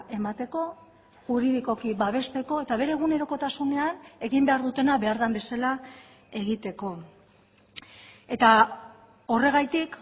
emateko juridikoki babesteko eta bere egunerokotasunean egin behar dutena behar den bezala egiteko eta horregatik